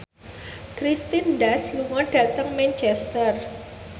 Kirsten Dunst lunga dhateng Manchester